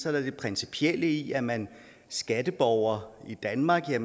er det principielle i at er man skatteborger i danmark er